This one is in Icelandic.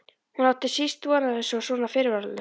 Hún átti síst von á þessu og svona fyrirvaralaust!